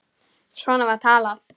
Svona var talað.